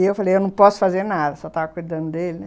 E eu falei, eu não posso fazer nada, só estava cuidando dele, né.